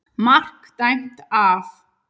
MARK DÆMT AF.